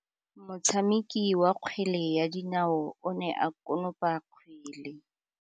Motshameki wa kgwele ya dinaô o ne a konopa kgwele.